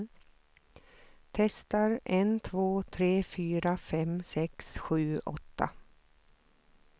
Testar en två tre fyra fem sex sju åtta.